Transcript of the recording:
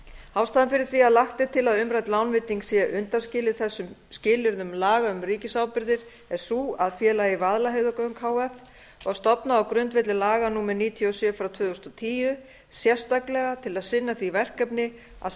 ástæðan fyrir því að lagt er til að umrædd lánveiting sé undanskilin þessum skilyrðum laga um ríkisábyrgðir er sú að félagið vaðlaheiðargöng h f var stofnað á grundvelli laga númer níutíu og sjö tvö þúsund og tíu sérstaklega til að sinna því verkefni að